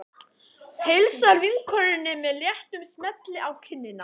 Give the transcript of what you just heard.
Heilsar vinkonunni með léttum smelli á kinnina.